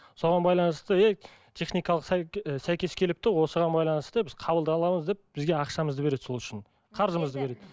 соған байланысты техникалық ы сәйкес келіпті осыған байланысты біз қабылдап аламыз деп бізге ақшамызды береді сол үшін қарызымызды береді